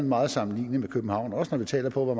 meget sammenlignelig med københavn også når vi tænker på